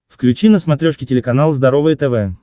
включи на смотрешке телеканал здоровое тв